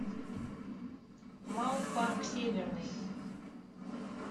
маук парк северный